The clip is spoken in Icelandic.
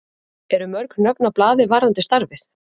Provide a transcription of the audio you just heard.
Eru mörg nöfn á blaði varðandi starfið?